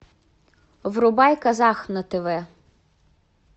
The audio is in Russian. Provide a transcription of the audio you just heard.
врубай казах на тв